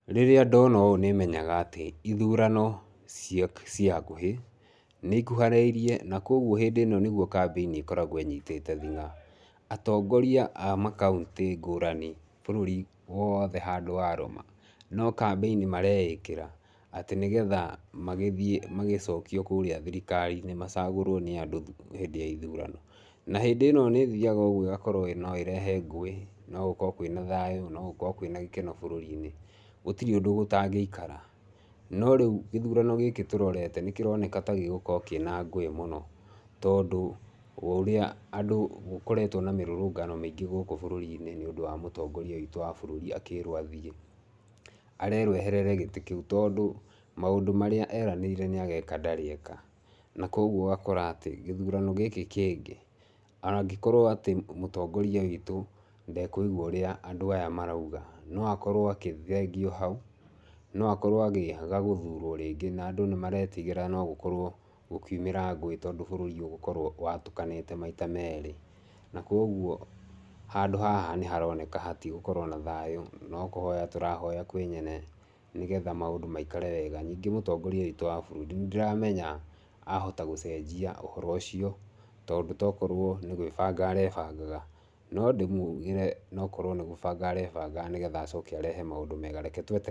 Rĩrĩa ndona ũũ nĩ menyaga atĩ ithurano ciĩ hakuhĩ, nĩ ikuharĩirie na kwoguo hĩndĩ ĩno nĩguo campaign ĩkoragwo ĩnyitĩte thing'a. Atongoria a makaũntĩ ngũrani bũrũri wothe handũ warũma, no campaign mareĩkĩra atĩ nĩgetha magĩthiĩ magĩcokio kũrĩa thirikari-inĩ, macagũrwo nĩ andũ hĩndĩ ya ithurano. Na hĩndĩ ĩno nĩ ĩthiaga ũguo ĩgakorwo no ĩrehe ngũĩ, no gũkorwo kwĩna thayũ, no gũkorwo kwĩna gĩkena bũrũri-inĩ gũtirĩ ũndũ gũtangĩikara. No rĩu gĩthurano gĩkĩ tũrorete nĩ kĩroneka ta gĩgũkorwo kĩĩna ngũĩ mũno tondũ wa ũrĩa andũ gũkoretwo na mĩrũrũngano mĩingĩ gũkũ bũrũri-inĩ, nĩ ũndũ wa mũtongoria witũ wa bũrũri akĩĩrwo athiĩ. Arerwo eherere gĩtĩ kĩu tondũ maũndũ marĩa eranĩire ndarĩ eka. Na koguo ũgakora atĩ gĩthurano gĩkĩ kĩngĩ angĩkorwo atĩ mũtongoria witũ ndekũigua ũrĩa andũ aya marauga, no akorwo agĩthengio hau, no akorwo akĩaga gũthurwo rĩngĩ. Na andũ nĩ maretigĩra gũkorwo gũkiumĩra ngũĩ tondũ bũrũri ũgũkorwo watũkanĩte maita merĩ. Na kwoguo handũ haha nĩ haroneka hatigũkorwo na thayũ, no kũhota tũrahoya kwĩ nyene nĩgetha maũndũ maikare wega. Nyingĩ mũtongoria witũ wa bũrũri nĩ ndĩramenya ahota gũcenjia ũhoro ũcio tondũ togũkorwo nĩ gwĩbanga arebangaga. No ndĩmugĩre nokorwo nĩ gwĩbanga arebangaga nĩgetha acoke arehe maũndũ mega. Reke twete...